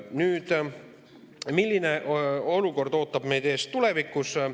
Nüüd, milline olukord ootab meid ees tulevikus?